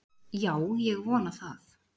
Já ég vona það.